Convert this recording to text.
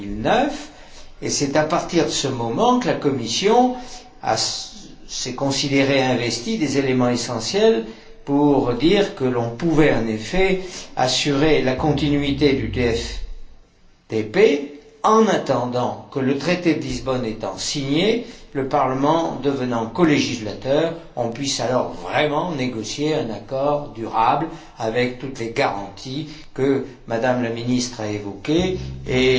2009. C'est à partir de ce moment que la Commission s'est considérée investie des éléments essentiels pour dire que l'on pouvait en effet assurer la continuité du TFTP en attendant que, le traité de Lisbonne étant signé et le Parlement devenant colégislateur, on puisse vraiment négocier un accord durable avec toutes les garanties que M me la ministre a évoquées et